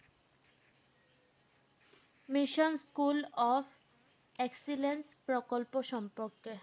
Mission school of excellence প্রকল্প সম্পর্কে।